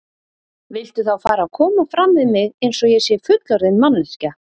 Viltu þá fara að koma fram við mig eins og ég sé fullorðin manneskja!